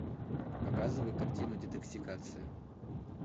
показывай картину детоксикация